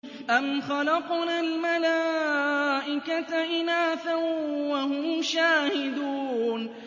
أَمْ خَلَقْنَا الْمَلَائِكَةَ إِنَاثًا وَهُمْ شَاهِدُونَ